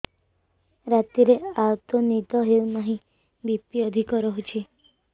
ରାତିରେ ଆଦୌ ନିଦ ହେଉ ନାହିଁ ବି.ପି ଅଧିକ ରହୁଛି